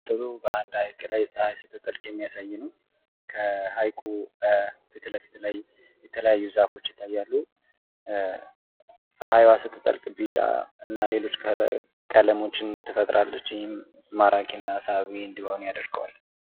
ምስሉ በአንድ ሐይቅ ላይ ፀሐይ ስትጠልቅ የሚያሳይ ነው። ከሐይቁ ፊት ለፊት ላይ የተለያዩ ዛፎች ይታያሉ። ፀሐዩአ ስትጠልቅ ቢጫ እና ሌሎች ቀለሞችን ትፈጥራለች። ይህም ማራኪና ሳቢ እንዲሆን ያደርገዋል።